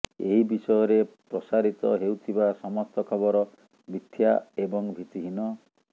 ଏହି ବିଷୟରେ ପ୍ରସାରିତ ହେଉଥିବା ସମସ୍ତ ଖବର ମିଥ୍ୟା ଏବଂ ଭିତ୍ତିହୀନ